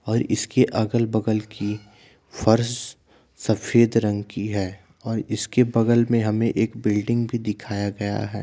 और इसके अगल बगल की फर्श सफ़ेद रंग की है। और इसके बगल में हमें एक बिल्डिंग भी दिखाया गया है।